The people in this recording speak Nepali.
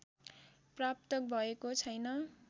प्राप्त भएको छैन्